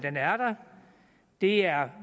er